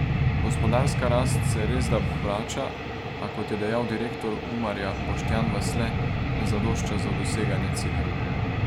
Gospodarska rast se resda vrača, a, kot je dejal direktor Umarja Boštjan Vasle, ne zadošča za doseganje ciljev.